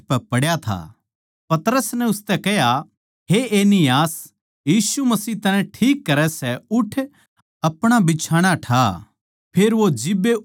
पतरस नै उसतै कह्या हे एनियास यीशु मसीह तन्नै ठीक करै सै उठ अपणा बिछाणा ठा फेर वो जिब्बे उठ खड्या होया